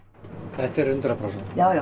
þetta er hundrað prósent